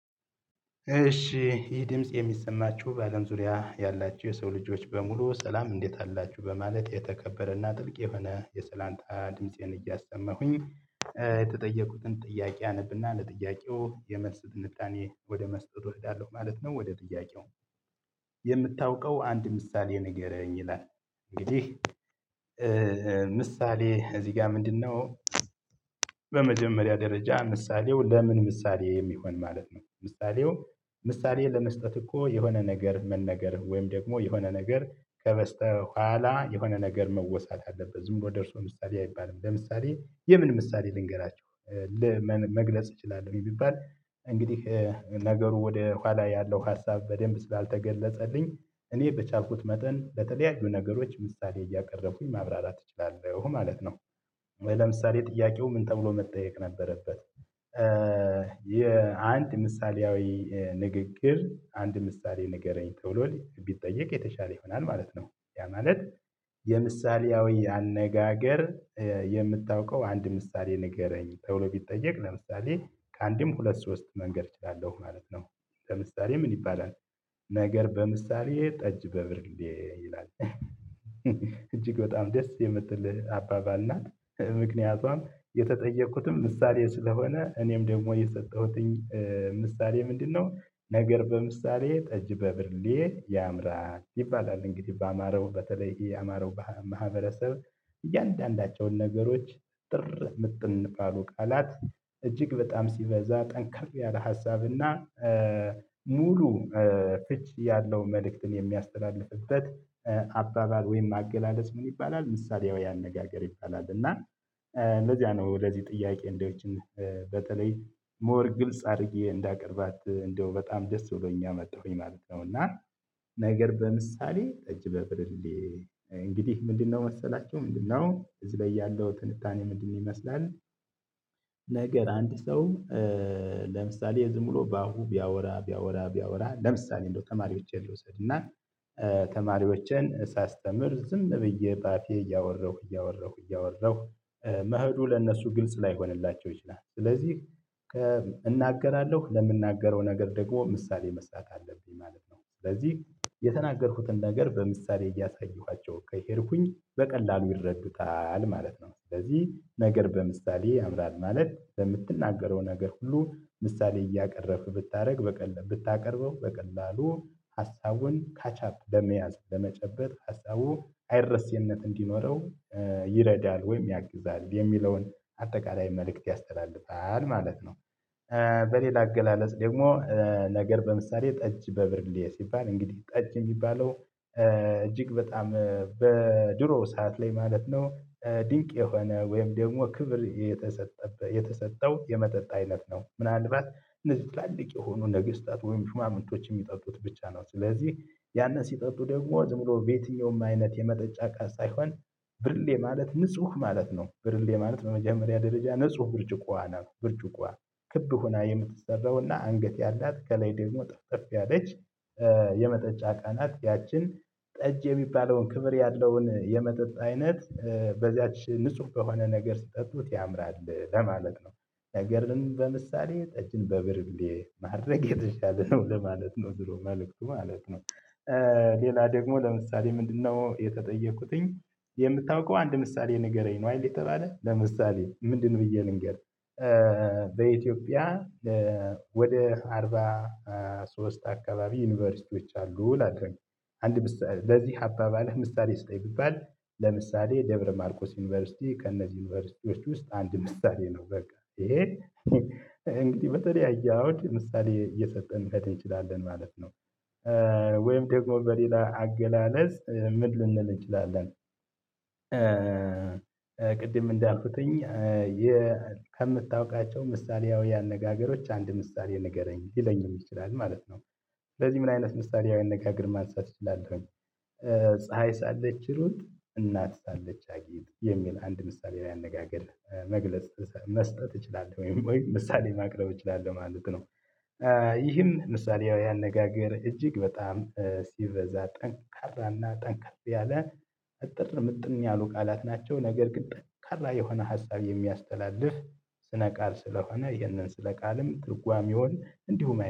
እሺ ይህ ድምጽ የሚሰማችሁ በአለም ዙሪያ ያላችሁ የሰው ልጆች በሙሉ ሰላም እንዴት አላችሁ በማለት የተከበረና ጥልቅ የሆነ የሰላምታ ድምፄን እያሰማሁኝ የተጠየቁትን ጥያቄ አነብና ለጥያቄው የመልስ ትንታኔ ወደ መስጠቱ እሄዳለሁ ማለት ነው። ወደ ጥያቄው የምታውቀው አንድ ምሳሌ ንገረኝ ይላል? እንግዲህ ምሳሌ እዚህ ጋር ምንድነው? በመጀመሪያ ደረጃ ምሳሌው ለምን ምሳሌ የሚሆን ማለት ነው። ምሳሌው ምሳሌ ለመስጠት እኮ የሆነ ነገር መነገር ወይም ደግሞ የሆነ ነገር ከበስተኋላ የሆነ ነገር መወሳት አለበት ዝም ብሎ ደርሶ ምሳሌ አይባልም ለምሳሌ የምን ምሳሌ ልንገራችሁ። ምን መግለጽ እችላለሁ? የሚባል እንግዲህ ነገሩ ወደ ኋላ ያለው ሀሳብ በደንብ ስላልተገለጸልኝ እኔ በቻልኩት መጠን ለተለያዩ ነገሮች ምሳሌ እያቀረብኩኝ ማብራራት እችላለሁ ማለት ነው። ለምሳሌ ጥያቄው ምን ተብሎ መጠየቅ ነበረበት? የአንድ ምሳሌያዊ ንግግር አንድ ምሳሌ ንገረኝ ተብሎ ቢጠየቅ የተሻለ ይሆናል ማለት ነው። ያ ማለት። የምሳሌያዊ አነጋገር የምታውቀው አንድ ምሳሌ ንገረኝ ተብሎ ቢጠየቅ ለምሳሌ ከአንድም ሁለት ሶስት መንገድ እችላለሁ ማለት ነው። ለምሳሌ ምን ይባላል? ነገር በምሳሌ ጠጅ በብርሌ ይላል እጅግ በጣም ደስ የምትል አባባል ናት። ምክንያቷም የተጠየቅኩትም ምሳሌ ስለሆነ እኔም ደግሞ የሰጠሁትኝ ምሳሌ ምንድነው? ነገር በምሳሌ ጠጅ በብርሌ ያምራል ይባላል እንግዲህ በአማራው በተለይ የአማራው ማህበረሰብ። እያንዳንዳቸውን ነገሮች እጥር ምጥን ባሉ ቃላት እጅግ በጣም ሲበዛ ጠንከር ያለ ሀሳብና ሙሉ ፍች ያለውን መልእክትን የሚያስተላልፍበት አባባል ወይም አገላለጽ ምን ይባላል ምሳሌያዊ አነጋገር ይባላል። እና እንደዚያ ነው ለዚህ ጥያቄ እንደ እችን በተለይ ሞር ግልጽ አድርጌ እንዳቀርባት እንደው በጣም ደስ ብሎኝ አመጣሁኝ ማለት ነው። እና ነገር በምሳሌ ጠጅ በብርሌ እንግዲህ ምንድነው መሰላችሁ ምንድነው እዚህ ላይ ያለው ትንታኔ ምንድነው ይመስላል? ነገር አንድ ሰው ለምሳሌ ዝም ብሎ በአፉ ቢያወራ ቢያወራ ቢያወራ ለምሳሌ እንደው ተማሪዎቼን ልውሰድና ተማሪዎቼን ሳስተምር ዝም ብዬ በአፌ እያወራሁ እያወራሁ እያወራሁ መሄዱ ለእነሱ ግልጽ ላይሆንላቸው ይችላል። ስለዚህ እናገራለሁ ለምናገረው ነገር ደግሞ ምሳሌ መስጠት አለብኝ ማለት ነው። ስለዚህ የተናገርኩትን ነገር በምሳሌ እያሳየኋቸው ከሄድኩኝ በቀላሉ ይረዱታል ማለት ነው። ስለዚህ ነገር በምሳሌ ያምራል ማለት በምትናገረው ነገር ሁሉ ምሳሌ እያቀረብክ ብታደርግ በቀላሉ ብታቀርበው በቀላሉ ሀሳቡን ካቻፕ በመያዝ በመጨበጥ ሀሳቡ አይረሴነት እንዲኖረው ይረዳል ወይም ያግዛል የሚለውን አጠቃላይ መልእክት ያስተላልፋል ማለት ነው። በሌላ አገላለጽ ደግሞ ነገር በምሳሌ ጠጅ በብርሌ ሲባል እንግዲህ ጠጅ የሚባለው እጅግ በጣም በድሮ ሰዓት ላይ ማለት ነው። ድንቅ የሆነ ወይም ደግሞ ክብር የተሰጠው የመጠጥ አይነት ነው ምናልባት እነዚህ ትላልቅ የሆኑ ነገስታት ወይም ሹማምንቶች የሚጠጡት ብቻ ነው ስለዚህ ያንን ሲጠጡ ደግሞ ዝም ብሎ በየትኛውም አይነት የመጠጫ ቃል ሳይሆን ብርሌ ማለት ንጹህ ማለት ነው። ብርሌ ማለት በመጀመሪያ ደረጃ ንጹህ ብርጭቆዋ ናት። ብርጭቆዋ ክብ ሆና የምትሰራውና አንገት ያላት ከላይ ደግሞ ጠፍጠፍ ያለች የመጠጫ እቃ ናት። ያችን ጠጅ የሚባለውን ክብር ያለውን የመጠጥ አይነት በዚያች ንጹህ በሆነ ነገር ስትጠጡት ያምራል ለማለት ነው። ነገርን በምሳሌ ጠጅን በብርሌ ማድረግ የተሻለ ነው ለማለት ነው ድሮ መልእክቱ ማለት ነው። ሌላ ደግሞ ለምሳሌ ምንድነው? የተጠየቁትኝ የምታውቀው አንድ ምሳሌ ንገረኝ ነው አይደል የተባለ ለምሳሌ ምንድን ብዬ ልንገር? በኢትዮጵያ ወደ አርባ ሶስት አካባቢ ዩኒቨርሲቲዎች አሉ እላለሁ። በዚህ አባባልህ ምሳሌ ስጠኝ ብባል ለምሳሌ ደብረ ማርቆስ ዩኒቨርሲቲ ከእነዚህ ዩኒቨርሲቲዎች ውስጥ አንድ ምሳሌ ነው። በቃ ይሄ እንግዲህ በተለያየ አውድ ምሳሌ እየሰጠን መሄድ እንችላለን ማለት ነው። ወይም ደግሞ በሌላ አገላለጽ ምን ልንል እንችላለን? ቅድም እንዳልኩትኝ ከምታውቃቸው ምሳሌያዊ አነጋገሮች አንድ ምሳሌ ንገረኝ ሊለኝም ይችላል ማለት ነው። ስለዚህ ምን አይነት ምሳሌያዊ አነጋገር ማንሳት እችላለሁኝ? ፀሀይ ሳለች እሩጥ እናት ሳለች አጊጥ የሚል አንድ ምሳሌያዊ አነጋገር መግለጽ መስጠት እችላለሁ ወይ ምሳሌ ማቅረብ እችላለሁ ማለት ነው። ይህም ምሳሌያዊ አነጋገር እጅግ በጣም ሲበዛ ጠንካራና ጠንከር ያለ እጥር ምጥን ያሉ ቃላት ናቸው። ነገር ግን ጠንካራ የሆነ ሀሳብ የሚያስተላልፍ ስነ ቃል ስለሆነ ይህንን ስነ ቃልም ትርጓሜውን እንዲሁ